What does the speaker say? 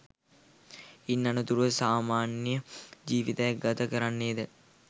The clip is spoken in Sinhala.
ඉන් අනතුරුව සාමාන්‍ය ජීවිතයක් ගත කරන්නේද?